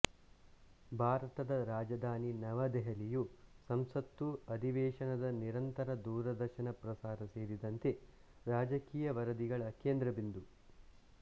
ಭಾರತದ ರಾಜಧಾನಿ ನವ ದೆಹಲಿಯು ಸಂಸತ್ತು ಅಧಿವೇಶನದ ನಿರಂತರ ದೂರದರ್ಶನ ಪ್ರಸಾರ ಸೇರಿದಂತೆ ರಾಜಕೀಯ ವರದಿಗಳ ಕೇಂದ್ರ ಬಿಂದು